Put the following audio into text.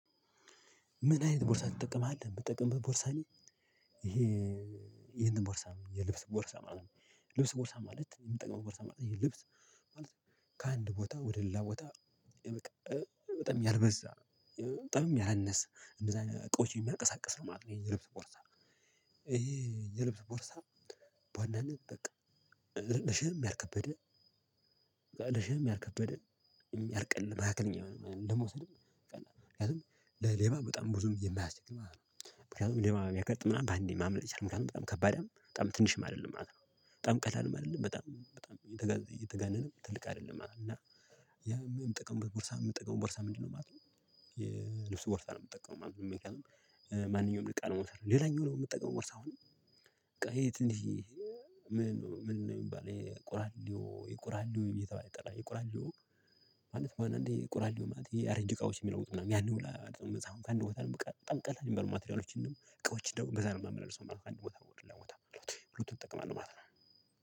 ምን አይነት ቦርሳ ትጠቀማለህ? የምጠቀምበት ቦርሳ እኔ ይሄ ይሄንን ቦርሳ የልብስ ቦርሳ ማለት ነው የልብስ ቦርሳ ማለት የምጠቅመው ቦርሳ ማለት ነው። ይሄ ልብስ ማለት ከአንድ ቦታ ወደ ሌላ ቦታ በቃ በጣም ያልበዛ በጣምም ያላነሰ እንደዛ እቃዎችን የሚያንቀሳቅስ ነው ማለት ነው የልብስ ቦርሳ። ይሄ የልብስ ቦርሳ በዋናነት በቃ ለሸክም ያልከበደ ለ እሸክም ያልከበደ ያልቀ መካከለኛ የሆነ ለመውሰድም ምክንያቱም ለሌባ በጣም ብዙም የማያስችል ማለት ነው። ምክንያቱም ሌባ ብያጋጥም በአንዴ ማምለጥ ይቻላል ምክንያቱም በጣም ከባድም በጣም ትንሽም አይደለም ማለት ነው። በጣም ቀላልም አይደለም በጣም በጣም የተጋ የተጋነነም ትልቅ አይደለም ማለት ነው። የምጠቀመው ቦርሳ የምጠቀመው ቦርሳ ምንድነው? ማለት ነው የልብስ ቦርሳ ነው የምጠቀመው ማለት። ማንኛውንም እቃ ለመውሰድ ሌላኛው ደግሞ የምጠቀመው ቦርሳ። በቃ ይሄ ትንሽዬ ምን ምን ነው የሚባል ይሄ ቁራሌው የቁራሌው እየተባለ የምጠራ የቁራሌው። አንዳንዴ ቁራሌው ማለት ያረጀ እቃዎች የሚለውጡ ምናምን ያንን። ከአንድ ቦታ ነው በጣም ቀላል የሚበሉ ማቴሪያሎችን እቃዎችን እንደው እንገዛ ነው የማምነው ሰው አንድ ቦታ ነው ለቦታ ሎቴ ብሎ ትጠቀማለህ ማለት ነው።